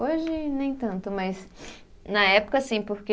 Hoje, nem tanto, mas na época, sim, porque...